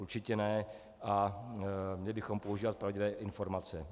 Určitě ne a měli bychom používat pravdivé informace.